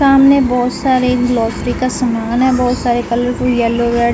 सामने बोहोत सारे ग्रोसरी का समान है। बोहोत सारे कलरफुल येलो रेड --